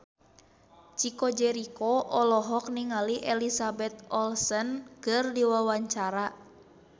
Chico Jericho olohok ningali Elizabeth Olsen keur diwawancara